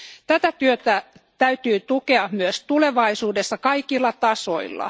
Tätä työtä täytyy tukea myös tulevaisuudessa kaikilla tasoilla.